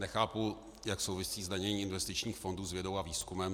Nechápu, jak souvisí zdanění investičních fondů s vědou a výzkumem.